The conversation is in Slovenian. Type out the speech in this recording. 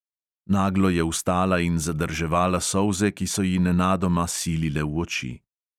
Naglo je vstala in zadrževala solze, ki so ji nenadoma silile v oči.